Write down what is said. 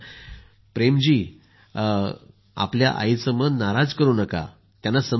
प्रेम जी आपल्या आईचे मान नाराज करु नका त्यांना समजून घ्या